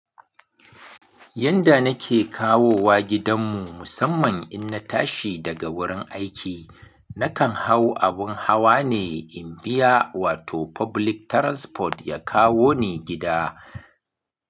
Yanda nake kawowa gidan mu musamman in na tashi daga wurin aiki, nakan hau abun hawa ne in biya wato public transport ya kawo ni gida.